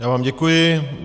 Já vám děkuji.